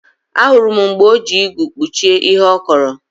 Ahụrụ m mgbe o ji igu kpuchie ihe ọ kọrọ